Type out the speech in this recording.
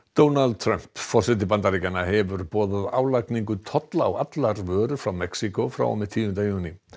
Donald Trump forseti Bandaríkjanna hefur boðað álagningu tolla á allar vörur frá Mexíkó frá og með tíunda júní